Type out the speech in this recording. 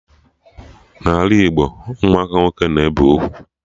N'ala Igbo Ụmụaka umunwoke na-ebe ugwu